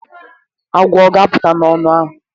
Agwọ ọ ga-apụta n'ọnụ ahụ?